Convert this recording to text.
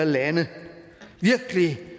lande virkelig